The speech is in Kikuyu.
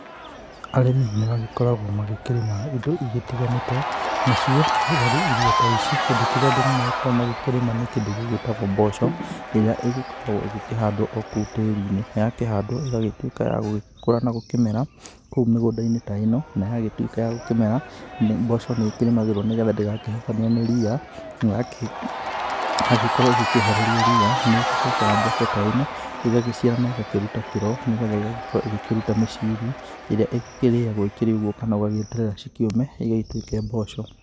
Arĩmi nĩ magĩkoragwo magĩkĩrĩma indo igĩtiganĩte nacio arĩ irio ta ici, kĩndũ kĩrĩa andũ magĩkoragwo magĩkĩrĩma nĩ kĩndũ gĩgĩtagwo mboco, ĩrĩa ĩgĩkoragwo igĩkĩhandwo o kou tĩri-inĩ na yakĩhandwo ĩgagĩtuĩka ya gũgĩkũra na gũkĩmera kou mĩgũnda-inĩ ta ĩno, na yagĩtuĩka ya gũkĩmera mboco, nĩ ĩkĩrĩmagĩrwo nĩgetha ndĩgakĩhobanĩrio nĩ ria, na yagĩkorwo ĩgĩkĩehererio ria, nĩ ĩgĩcokaga mboco ta ĩno ĩgagĩciara na ĩgakĩruta kĩro, nĩgetha ĩgagĩkorwo ĩgĩkĩruta mĩciri, ĩrĩa ĩgĩkĩrĩagwo ikĩrĩ ũguo kana ũgagĩeterera cikĩũme igĩtuĩke mboco.